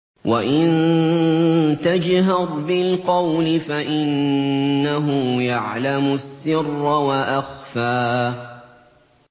وَإِن تَجْهَرْ بِالْقَوْلِ فَإِنَّهُ يَعْلَمُ السِّرَّ وَأَخْفَى